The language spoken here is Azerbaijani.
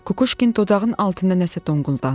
Kukuşkin dodağının altında nəsə donquldandı.